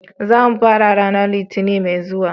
Za mu fara ranar Litinin mai zuwa.